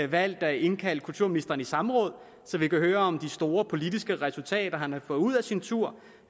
valgt at indkalde kulturministeren til samråd så vi kan høre om de store politiske resultater han har fået ud af sin tur